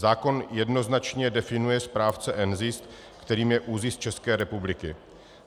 Zákon jednoznačně definuje správce NZIS, kterým je ÚZIS České republiky.